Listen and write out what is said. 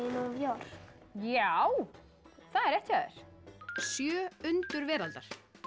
York já það er rétt hjá þér sjö undur veraldar